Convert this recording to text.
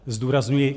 Zdůrazňuji -